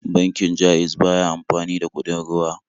Bankin Ja'iz ba ya amfani da kuɗin ruwa.